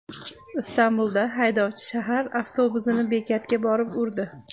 Istanbulda haydovchi shahar avtobusini bekatga borib urdi.